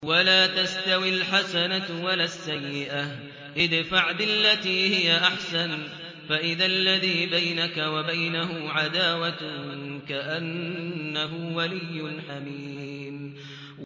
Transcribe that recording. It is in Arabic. وَلَا تَسْتَوِي الْحَسَنَةُ وَلَا السَّيِّئَةُ ۚ ادْفَعْ بِالَّتِي هِيَ أَحْسَنُ فَإِذَا الَّذِي بَيْنَكَ وَبَيْنَهُ عَدَاوَةٌ كَأَنَّهُ وَلِيٌّ حَمِيمٌ